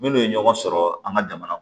Minnu ye ɲɔgɔn sɔrɔ an ka jamana kɔnɔ